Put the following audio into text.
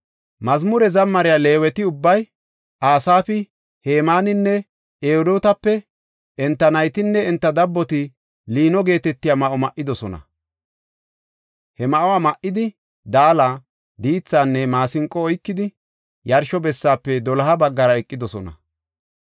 Mazmure zammariya Leeweti ubbay, Asaafi, Hemaaninne Edotape, enta naytinne enta dabboti liino geetetiya ma7o ma7idosona. He ma7uwa ma7idi, daala, diithinne maasinqo oykidi, yarsho bessaafe doloha baggara eqidosona.